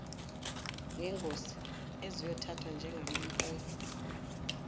zengosi eziyothathwa njengamampunge